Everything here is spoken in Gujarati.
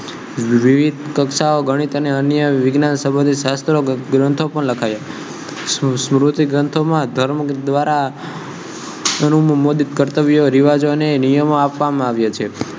વિવિધ કક્ષાઓ ગણિત અને અન્ય વિજ્ઞાન સંબંધિત શાસ્ત્રો ગ્રંથો પણ લખયા શરૂઆતથી ગ્રંથોમાં ધર્મ દ્વારા રિવાજો અને નિયમો આપવામાં આવ્યા છે